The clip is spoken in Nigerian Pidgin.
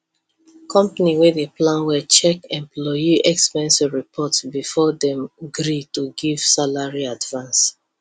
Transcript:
company wey dey plan money check employee expense report before dem gree to give salary advance